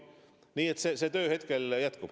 Nii et see töö hetkel jätkub.